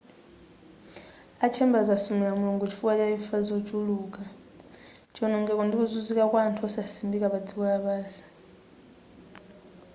a chambers asumila mulungu chifukwa cha imfa zochuluka chionongeko ndi kuzunzika kwa anthu osasimbika pa dziko lapansi